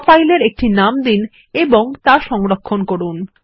draw file এর একটি নাম দিন এবং তা সংরক্ষণ করুন